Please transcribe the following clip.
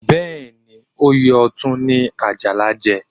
Bẹ́ẹ̀ ni, oyè Ọ̀tún ni Àjàlá jẹ